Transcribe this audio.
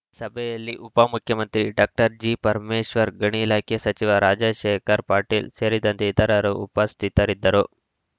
ಸಭೆಯಲ್ಲಿ ಉಪಮುಖ್ಯಮಂತ್ರಿ ಡಾಕ್ಟರ್ ಜಿಪರಮೇಶ್ವರ್‌ ಗಣಿ ಇಲಾಖೆ ಸಚಿವ ರಾಜಶೇಖರ್‌ ಪಾಟೀಲ್‌ ಸೇರಿದಂತೆ ಇತರರು ಉಪಸ್ಥಿತರಿದ್ದರು